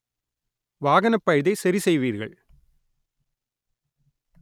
வாகனப் பழுதை சரி செய்வீர்கள்